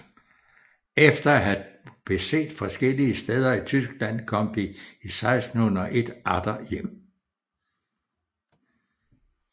Efter at have beset forskellige steder i Tyskland kom de 1601 atter hjem